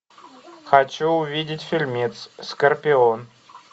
хочу увидеть фильмец скорпион